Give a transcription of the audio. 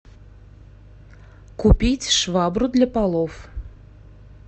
купить швабру для полов